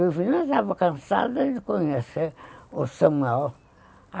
Eu já estava cansada de conhecer o Samuel.